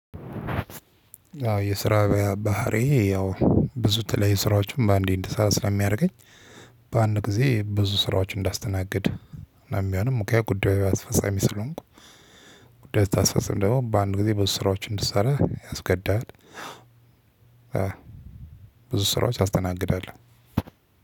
አዎ የስራ ባህሪዬ ያው ብዙ የተለያዩ ስራዎችን በአንዴ እንድሰራ ስለሚያደርገኝ በአንድ ጊዜ ብዙ ስራዎችን እንዳስተናግድ እና የሚሆንም እኮ የጉዳዩ አስፈጻሚ ስለሆንኩ ጉዳይ ስታስፈጽም ደግሞ በአንድ ጊዜ ብዙ ስራዎችን እንድትሰራ ያስገድድሃል። ብዙ ስራዎች ታስተናግዳለህ።